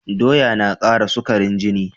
Doya na kara sukarin jini